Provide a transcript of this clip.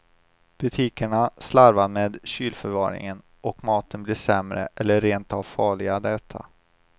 Butikerna slarvar med kylförvaringen, och maten blir sämre eller rent av farlig att äta.